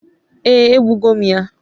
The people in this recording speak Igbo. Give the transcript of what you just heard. ee, egbugo m ya